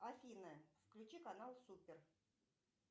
афина включи канал супер